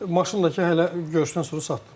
Maşınla ki hələ görüşdən sonra satdım.